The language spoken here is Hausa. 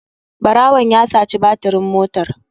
Ɓarawon ya saci batirin motar.